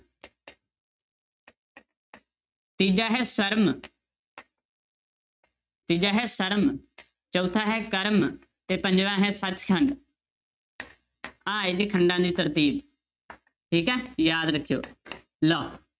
ਤੀਜਾ ਹੈ ਸਰਮ ਤੀਜਾ ਹੈ ਸਰਮ ਚੌਥਾ ਹੈ ਕਰਮ ਤੇ ਪੰਜਵਾਂ ਹੈ ਸੱਚਖੰਡ ਆਹ ਹੈ ਜੀ ਖੰਡਾਂ ਦੀ ਤਰਤੀਬ ਠੀਕ ਹੈ ਯਾਦ ਰੱਖਿਓ ਲਓ